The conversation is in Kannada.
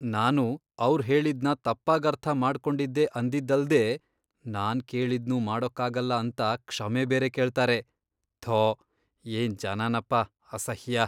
ನಾನು ಅವ್ರ್ ಹೇಳಿದ್ನ ತಪ್ಪಾಗರ್ಥ ಮಾಡ್ಕೊಂಡಿದ್ದೆ ಅಂದಿದ್ದಲ್ದೇ ನಾನ್ ಕೇಳಿದ್ನೂ ಮಾಡ್ಕೊಡಕ್ಕಾಗಲ್ಲ ಅಂತ ಕ್ಷಮೆ ಬೇರೆ ಕೇಳ್ತಾರೆ, ಥೋ ಏನ್ ಜನನಪ..ಅಸಹ್ಯ!